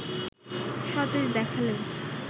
সতেজ দেখালেও